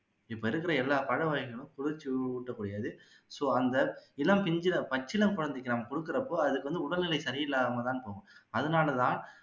இப்போ இருக்குற எல்லா பழ வகைகளும் குளிர்ச்சி ஊட்டக்கூடியது so அந்த இளம் பிஞ்சுல பச்சிளம் குழந்தைக்கு நாம குடுக்குறப்போ அதுக்கு வந்து உடல்நிலை சரியில்லாமல் தான் போகும் அதனால தான்